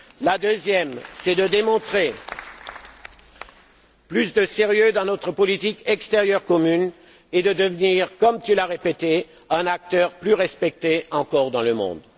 La deuxième est de démontrer plus de sérieux dans notre politique extérieure commune et de devenir, comme tu l'as répété, un acteur plus respecté encore dans le monde.